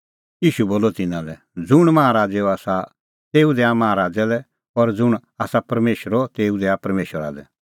ईशू बोलअ तिन्नां लै ज़ुंण माहा राज़ैओ आसा तेऊ दैआ माहा राज़ै लै और ज़ुंण आसा परमेशरो तेऊ दैआ परमेशरा लै